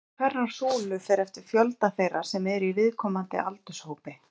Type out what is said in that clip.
Lengd hverrar súlu fer eftir fjölda þeirra sem eru í viðkomandi aldurshópi.